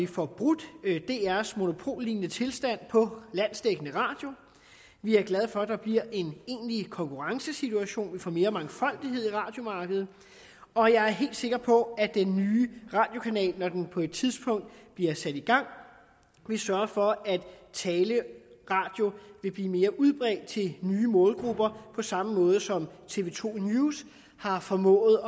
får brudt drs monopollignende tilstand på landsdækkende radio vi er glade for at der bliver en egentlig konkurrencesituation vi får mere mangfoldighed på radiomarkedet og jeg er helt sikker på at den nye radiokanal når den på et tidspunkt bliver sat i gang vil sørge for at taleradio vil blive mere udbredt til nye målgrupper på samme måde som tv to news har formået